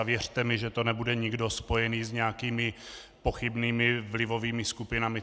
A věřte mi, že to nebude nikdo spojený s nějakými pochybnými vlivovými skupinami.